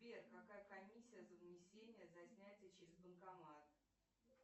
сбер какая комиссия за внесение за снятие через банкомат